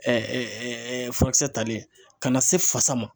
furakisɛ talen ka na se fasa ma